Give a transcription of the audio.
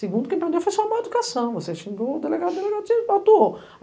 Segundo, quem prendeu foi a sua má educação, você xingou o delegado, o delegado te atuou